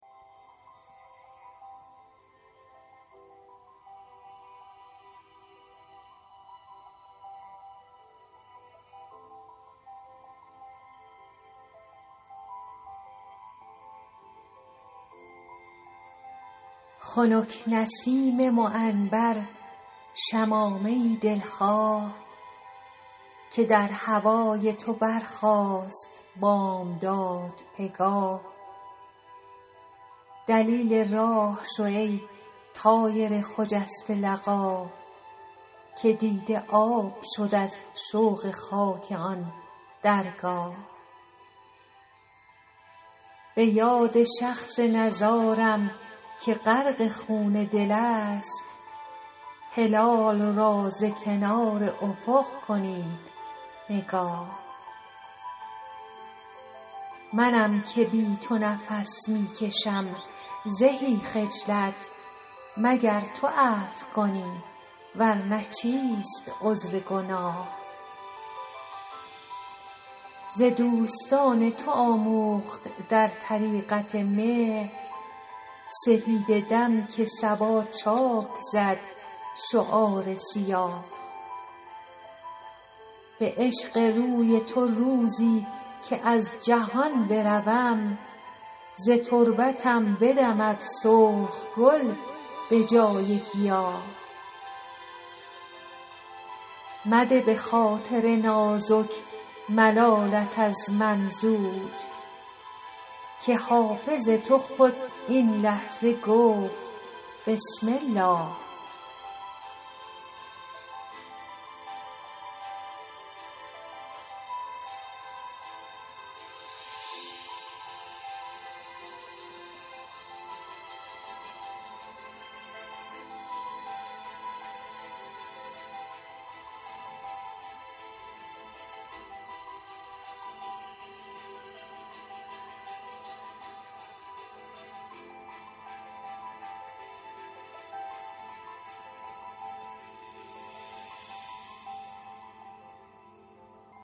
خنک نسیم معنبر شمامه ای دل خواه که در هوای تو برخاست بامداد پگاه دلیل راه شو ای طایر خجسته لقا که دیده آب شد از شوق خاک آن درگاه به یاد شخص نزارم که غرق خون دل است هلال را ز کنار افق کنید نگاه منم که بی تو نفس می کشم زهی خجلت مگر تو عفو کنی ور نه چیست عذر گناه ز دوستان تو آموخت در طریقت مهر سپیده دم که صبا چاک زد شعار سیاه به عشق روی تو روزی که از جهان بروم ز تربتم بدمد سرخ گل به جای گیاه مده به خاطر نازک ملالت از من زود که حافظ تو خود این لحظه گفت بسم الله